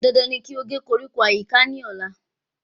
Dandan ní kí o gé koríko ní àyíká ní ọ̀la